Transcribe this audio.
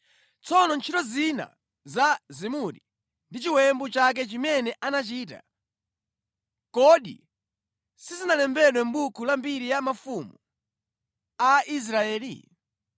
Tsono ntchito zina za Zimuri ndi chiwembu chake chimene anachita, kodi sizinalembedwe mʼbuku la mbiri ya mafumu a Israeli?